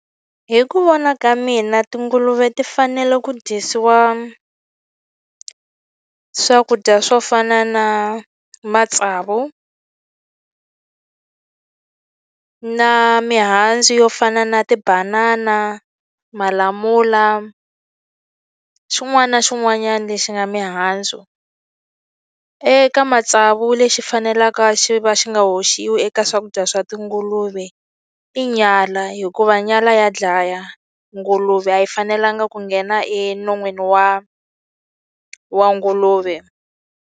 Hi ku vona ka mina tinguluve ti fanele ku dyisiwa swakudya swo fana na matsavu na mihandzu yo fana na tibanana, malamula, xin'wana na xin'wanyana lexi nga mihandzu. Eka matsavu lexi fanelaka xi va xi nga hoxiwi eka swakudya swa tinguluve, i nyala hikuva nyala ya dlaya. Nguluve a yi fanelanga ku nghena enon'wini wa wa nguluve.